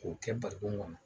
K'o kɛ barikon kɔnɔ